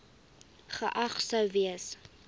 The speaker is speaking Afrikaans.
geag sou gewees